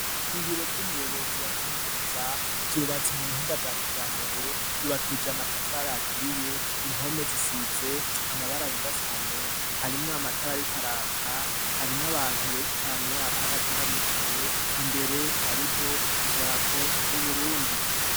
ibiro vy'umuyobozi wa kaminuza vyubatse mu buhinga bwa kijambere vyubakije amatafari yaturiye, impome zisize amabaraneda cyane harimwe amatari ari karaka harimwe abantu benshi cane abahagaze n'abicaye imbere hariho idarapo y'uburundi.